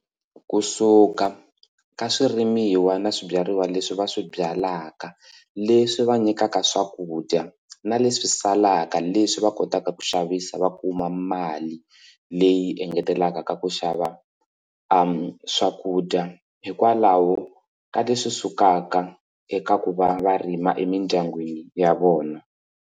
Ku suka ka swirimiwa na swibyariwa leswi va swi byalaka leswi va nyikaka swakudya na leswi salaka leswi va kotaka ku xavisa va kuma mali leyi engetelaka ka ku xava swakudya hikwalaho ka leswi sukaka eka ku va va rima emindyangwini ya vona.